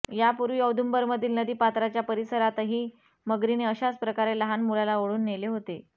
यापूर्वी औदुंबरमधील नदी पात्राच्या परिसरातही मगरीने अशाचप्रकारे लहान मुलाला ओढून नेले होते